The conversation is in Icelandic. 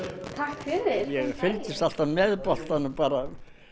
verið velkomin ég fylgist alltaf með boltanum bara